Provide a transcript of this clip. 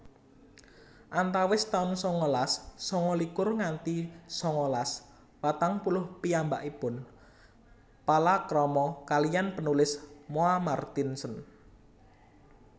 Antawis taun sangalas sangalikur nganti sangalas patang puluh piyambakipun palakrama kaliyan penulis Moa Martinson